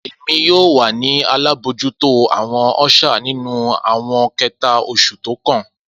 Emi yoo wa ni alabojuto awọn usher ninu awọn kẹta osu tókàn.